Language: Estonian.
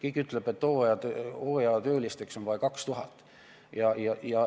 On öeldud, et hooajatöölisi on vaja 2000.